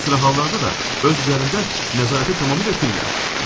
Bir sıra hallarda da öz üzərimdə nəzarəti tamamilə itirirəm.